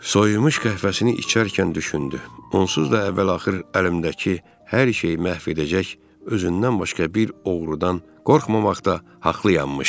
Soyumuş qəhvəsini içərkən düşündü: onsuz da əvvəl-axır əlimdəki hər şey məhv edəcək özündən başqa bir oğrudan qorxmamaqda haqlı yanmış.